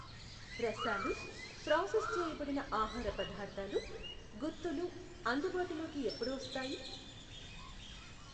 రసాలు, ప్రాసెస్ చేయబడిన ఆహార పదార్ధాలు, గుత్తులు అందుబాటులోకి ఎప్పుడు వస్తాయి?*